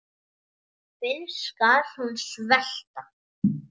Fyrr skal hún svelta.